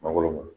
Mangoro